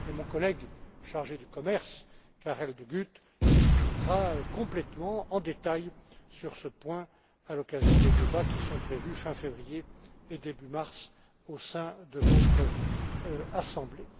Mon collègue chargé du commerce, Karel De Gucht, s'expliquera complètement en détail sur ce point à l'occasion des débats qui sont prévus fin février et début mars au sein de votre Assemblée.